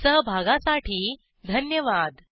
सहभागासाठी धन्यवाद